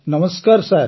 ନମସ୍କାର ସାର୍